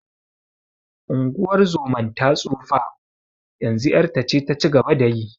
Unguwar zoman ta tsufa, yanzu ƴarta ce ta ci gaba da yi.